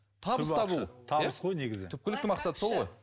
табыс табу түпкілікті мақсат сол ғой